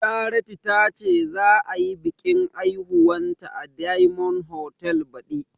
Charity tace za ayi biƙin aihuwanta a diyamond hotal baɗi